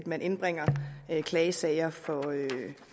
man indbringer klagesager for